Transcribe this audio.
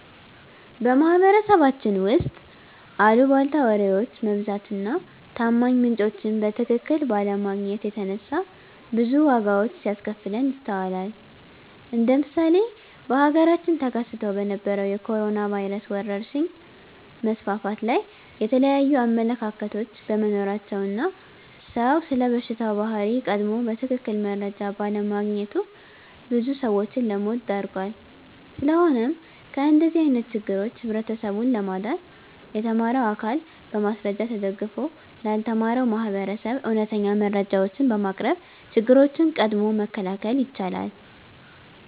በማህበረሰባችን ውስጥ አልቧልታ ወሬዎች መብዛት እና ታማኝ ምንጮችን በትክክል ባለማግኘት የተነሳ ብዙ ዋጋዎች ሲያስከፍለን ይስተዋላል እንደ ምሳሌ በሀገራችን ተከስቶ በነበረዉ የኮሮኖ ቫይረስ ወረርሽኝ መስፋፋት ላይ የተለያዩ አመለካከቶች በመኖራቸው እና ሰዉ ስለበሽታው ባህሪ ቀድሞ በትክክል መረጃ ባለማግኘቱ ብዙ ሰዎችን ለሞት ዳርጓል። ስለሆነም ከእንደዚህ አይነት ችግሮች ህብረተሰቡን ለማዳን የተማረው አካል በማስረጃ ተደግፎ ላልተማረው ማህበረሰብ እውነተኛ መረጃዎችን በማቅረብ ችግሮችን ቀድሞ መከላከል ይቻላል።